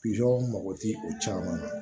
mago ti o caman na